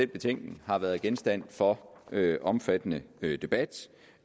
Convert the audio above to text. betænkning har været genstand for omfattende debat